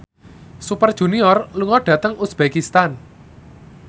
Super Junior lunga dhateng uzbekistan